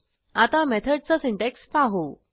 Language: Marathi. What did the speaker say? आता मेथडचा सिंटॅक्स पाहू